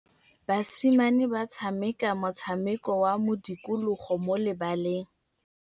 Basimane ba tshameka motshameko wa modikologô mo lebaleng.